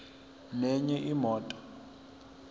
nenye imoto